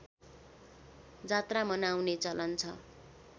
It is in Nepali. जात्रा मनाउने चलन छ